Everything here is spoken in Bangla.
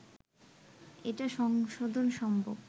এটা সংশোধন সম্ভব